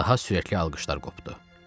Daha sürətli alqışlar qopdu.